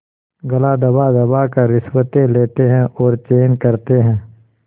गला दबादबा कर रिश्वतें लेते हैं और चैन करते हैं